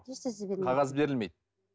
ешнәрсе бермейді қағаз берілмейді